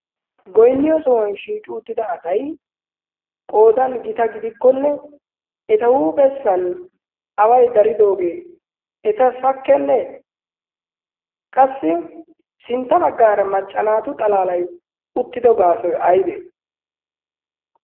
goinniyo sohuwan shiiqi uttida asai qoodan gita gidikkonne eta huuphessan awai daridoogee eta sakkennee qassi sintta baggaara maccanaatu xalaalai uttido gaasoi aibee